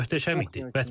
Möhtəşəm idi.